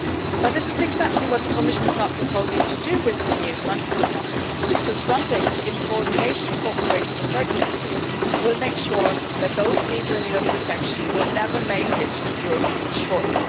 But this is exactly what the Commission is not proposing to do with the new Frontex mandate, because Frontex, in coordination and cooperation with third countries, will make sure that those people in need of protection will never make it to European shores.